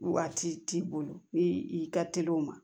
Waati t'i bolo ni i ka teli o ma